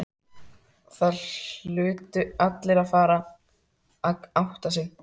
Það hlutu allir að fara að átta sig.